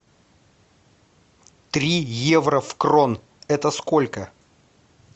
три евро в крон это сколько